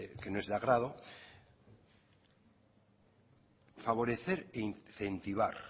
que no es de agrado favorecer e incentivar